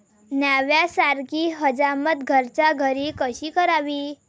न्हाव्यासारखी हजामत घरच्या घरी कशी करावी?